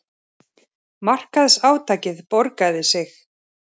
Markaðsátakið borgaði sig